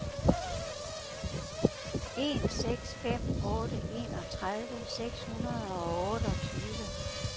en seks fem otte enogtredive seks hundrede og otteogtyve